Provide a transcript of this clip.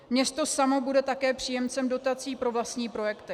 Město samo bude také příjemcem dotací pro vlastní projekty.